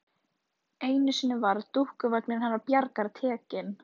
Einu sinni var dúkkuvagninn hennar Bjargar tekinn.